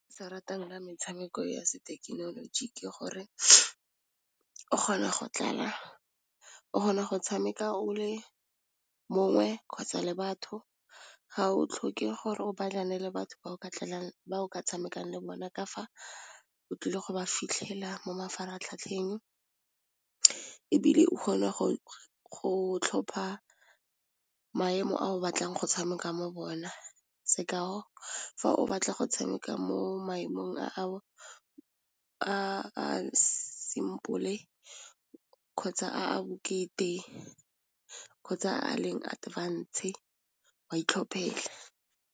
Se ratang ka metshameko ya sethekenoloji ke gore o kgona go tlala o kgona go tshameka o le mongwe kgotsa le batho ga o tlhoke gore o le batho ba o ka tshamekang le bone ka fa o tlile go ba fitlhela mo mafaratlhatlheng ebile o kgone go tlhopha maemo a o batlang go tshameka mo bona, sekao fa o batla go tshameka mo maemong a simple kgotsa a a bokete kgotsa a leng advance wa itlhophela.